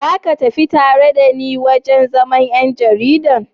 Za ka tafi tare da ni wurin zaman 'yan jarida?